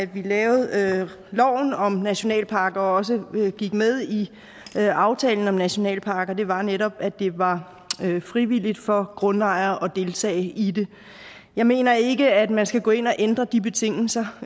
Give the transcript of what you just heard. vi lavede loven om nationalparker og også gik med i aftalen om nationalparker var netop at det var frivilligt for grundejere at deltage i det jeg mener ikke at man skal gå ind og ændre de betingelser